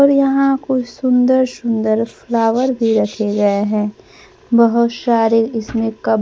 और यहां कोई सुंदर सुंदर फ्लावर भी रखे गए हैं बहुत सारे इसमें कप --